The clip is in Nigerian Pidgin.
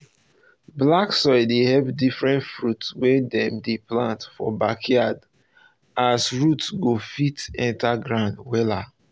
black soil dey help diffrerent fruits wey dem dey plant for backyard as root go fit um enter ground um wella